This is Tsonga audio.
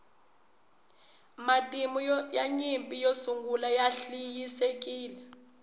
matimu ya nyimpi yo sungula ya hliayisekile